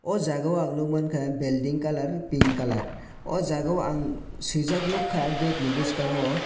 aw jaaga o ang nugmanka belding kalar pink kalar aw jaaga o ang sinijak nugkha gate ni bwskango.